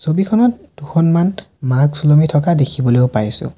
ছবিখনত দুখনমান মাস্ক উলমি থকা দেখিবলৈও পাইছোঁ।